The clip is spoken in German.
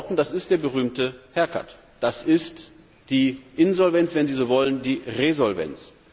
Mit anderen Worten, das ist der berühmte Haircut das ist die Insolvenz, wenn sie so wollen, die Resolvenz.